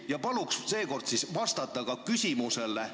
Ja palun seekord küsimusele vastata!